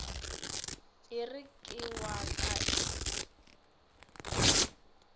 ere ke wa ka e